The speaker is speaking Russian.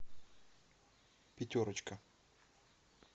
пятерочка